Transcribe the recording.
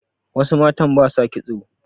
wasu matan ba sa kitso